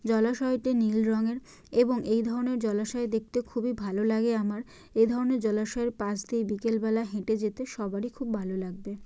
জলাশয়টি নীল রঙের এবং এই ধরনের জলাশয় দেখতে খুবই ভালো লাগে আমার। এ ধরনের জলাশয়ের পাশ দিয়ে বিকেল বেলা হেঁটে যেতে সবারই খুব ভালো লাগবে।